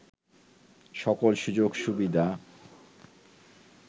সকল সুযোগ সুবিধা